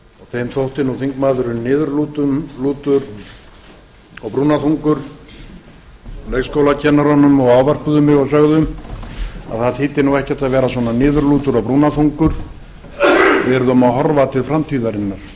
þeim þótti nú þingmaðurinn niðurlútur og brúnaþungur leikskólakennurunum og ávörpuðu mig og sögðu að það þýddi nú ekkert að vera svona niðurlútur og brúnaþungur við yrðum að horfa til framtíðarinnar